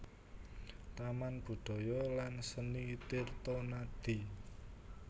Taman Budaya lan Seni Tirtonadi